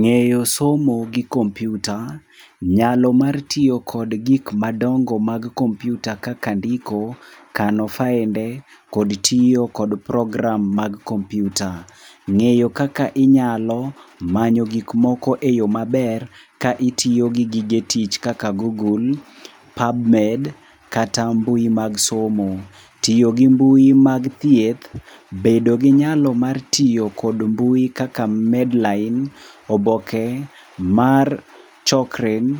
Ngéyo somo gi computer, nyalo mar tiyo kod gik madongo mag computer kaka ndiko, kano fainde, kod tiyo kod program mag computer. Ngéyo kaka inyalo manyo gik moko e yo maber, ka itiyo gi gige tich kaka Google, PubMed, kata mbui mag somo. Tiyo gi mbui mag thieth, bedo gi nyalo mar tiyo go mbui kaka Medline, oboke mar Chokren